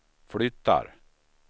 flyttar